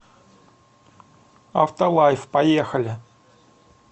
автолайф поехали